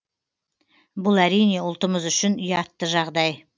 бұл әрине ұлтымыз үшін ұятты жағдай